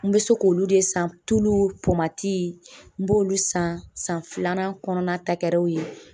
N bɛ se k'olu de san tulu n b'olu san san filanan kɔnɔna tagɛrɛ o ye